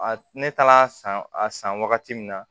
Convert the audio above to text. A ne taala a san a san wagati min na